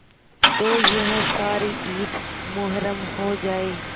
तो यह सारी ईद मुहर्रम हो जाए